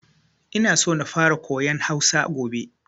Ina so na fara koyan Hausa gobe.